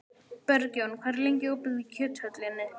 Bergjón, hvað er lengi opið í Kjöthöllinni?